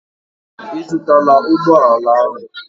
Ị zụtara ụgbọ ala ahụ?